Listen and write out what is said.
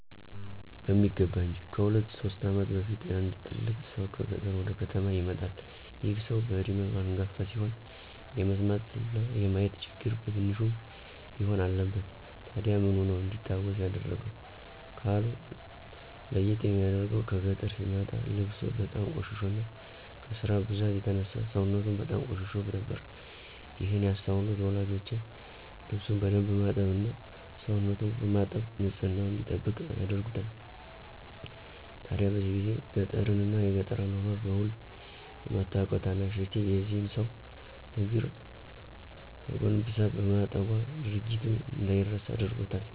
በሚገባ እንጅ። ከሁለት ሶስት ዓመት በፊት አንድ ትልቅ ሰው ከገጠር ወደ ከተማ ይመጣል። ይህ ሰው በዕድሜው አንጋፋ ሲሆን የመስማትና የማየት ችግር በትንሹም ቢሆን አለበት። ታዲያ ምኑ ነው እንዲታወስ ያደረገው? ካሉ፤ ለይት የሚያደርገው ከገጠር ሲመጣ ልብሱ በጣም ቆሽሾና ከስራ ብዛት የተነሳ ሰውነቱም በጣም ቆሽሾ ነበር። ይህን ያስተዋሉት ወላጆቼ ልብሱን በደንብ በማጠብ እና ሰውነቱን በማጠብ ንፅህናውን እንዲጠብቅ ያደርጉታል። ታዲያ በዚህ ጊዜ ገጠርን እና የገጠር አኗኗር በዉል የማታቀው ታናሽ እህቴ የዚህን ሰው እግር ተጎንብሳ በማጠቧ ድርጊቱ እንደይረሳ አድርጎታል።